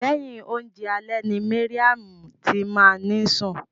Lẹhin oúnjẹ alẹ́ ni Mariam ti máa ni sun.